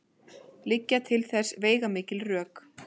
Liggja til þess veigamikil rök.